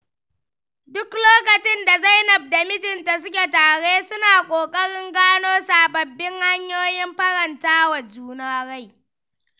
Duk lokacin da Zainab da mijinta suke tare suna ƙoƙarin gano sabbabin hanyoyin faranta wa juna rai.